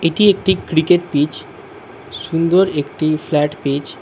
এটি একটি cricket pitch সুন্দর একটি ফ্ল্যাট পিচ ।